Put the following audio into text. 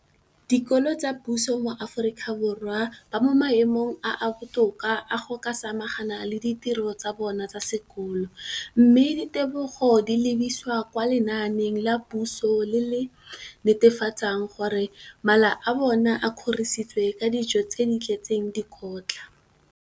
dikolo tsa puso mo Aforika Borwa ba mo maemong a a botoka a go ka samagana le ditiro tsa bona tsa sekolo, mme ditebogo di lebisiwa kwa lenaaneng la puso le le netefatsang gore mala a bona a kgorisitswe ka dijo tse di tletseng dikotla.